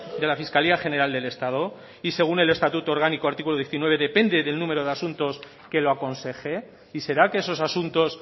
de la fiscalía general del estado y según el estatuto orgánico artículo diecinueve depende del número de asuntos que lo aconseje y será que esos asuntos